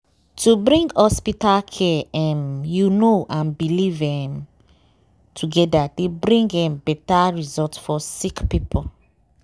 to bring hospital care em you know and belief em togeda dey bring um beta result for sick poeple.